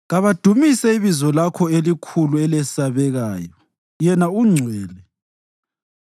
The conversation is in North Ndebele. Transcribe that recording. Kabadumise ibizo Lakho elikhulu elesabekayo Yena ungcwele.